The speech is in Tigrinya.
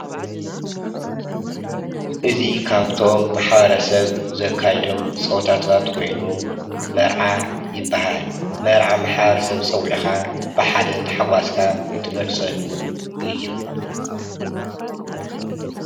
እዙይ ካብቶም ማሕበረሰብ ዘካይዶም ፀወታታት ሓደ ካይኑ መርዓ ይብሃል። መርዓ ማሕበረሰብ ፀውዒካ ብሓደ ታሓጓስካ ትገልፀሉ እዩ።